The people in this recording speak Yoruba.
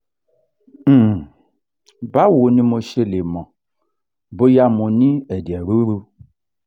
um báwo ni mo ṣe lè mọ̀ bóyá mo ní ẹ̀jẹ̀ ruru?